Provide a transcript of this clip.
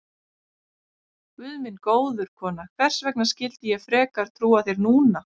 Guð minn góður, kona, hvers vegna skyldi ég frekar trúa þér núna?